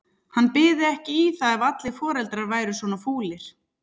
Hann byði ekki í það ef allir foreldrar væru svona fúlir.